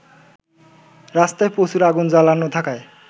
রাস্তায় প্রচুর আগুন জ্বালানো থাকায়